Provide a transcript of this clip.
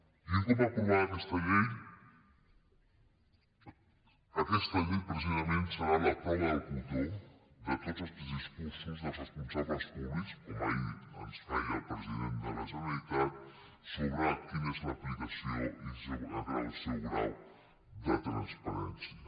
i un cop aprovada aquesta llei aquesta llei precisament serà precisament la prova del cotó de tots els discursos dels responsables públics com ahir ens feia el president de la generalitat sobre quina és l’aplicació i el seu grau de transparència